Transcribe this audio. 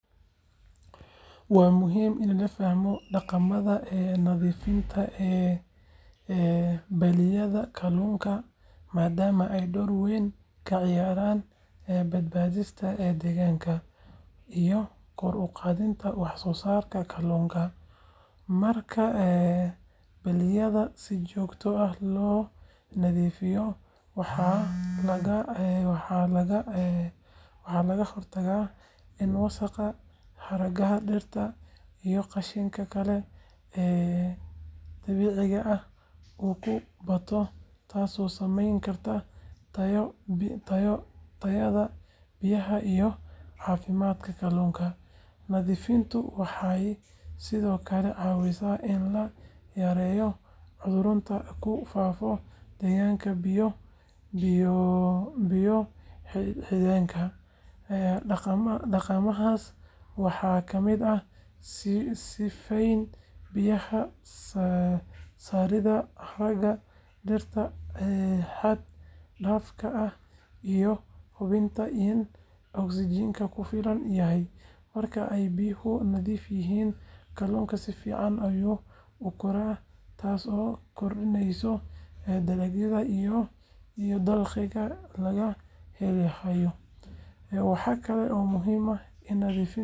Waa muhiim in la fahmo dhaqamada nadiifinta balliyada kalluunka maadaama ay door weyn ka ciyaaraan badbaadinta deegaanka iyo kor u qaadidda wax soo saarka kalluunka. Marka balliyada si joogto ah loo nadiifiyo, waxaa laga hortagaa in wasaqda, haragga dhirta, iyo qashinka kale ee dabiiciga ah uu ku bato, taasoo saameyn karta tayada biyaha iyo caafimaadka kalluunka. Nadiifintu waxay sidoo kale caawisaa in la yareeyo cudurrada ku faafo deegaanka biyo-xidheenka. Dhaqamadaas waxaa ka mid ah sifeynta biyaha, saaridda haragga dhirta xad dhaafka ah, iyo hubinta in oksijiinku ku filan yahay. Marka ay biyo nadiif yihiin, kalluunku si fiican ayuu u koraa, taasoo kordhinaysa dalagga iyo dakhligii laga heli lahaa. Waxaa kale oo muhiim ah in nadiifinta lagu saleeyo jadwal joogto ah si loo ilaaliyo dheelitirka noolaha ku dhex nool balliyada. Haddii aan la ilaalin dhaqamadan, waxa laga yaabaa in kalluunka uu dhinto ama uu yaraado, taasoo saameyn taban ku yeelan karta nolosha dadka ku tiirsan kalluumeysiga. Marka la eego faa’iidooyinkan, dhaqamada nadiifinta balliyada waa lama huraan si loo helo deegaanka kalluun caafimaad qaba iyo dhaqaale waara.